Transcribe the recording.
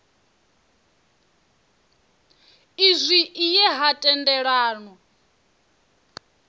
izwi i ye ha tendelanwa